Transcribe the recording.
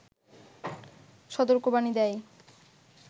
সতর্কবাণী দেয়